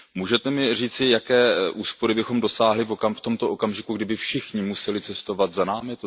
Můžete mi říci, jaké úspory bychom dosáhli v tomto okamžiku, kdyby všichni museli cestovat za námi?